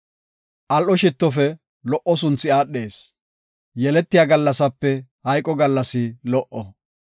Al77o shittofe lo77o sunthi aadhees; yeletiya gallasape hayqo gallas lo77o.